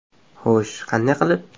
Xo‘sh, qanday qilib?